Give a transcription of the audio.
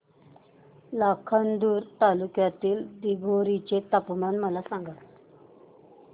लाखांदूर तालुक्यातील दिघोरी चे तापमान मला सांगा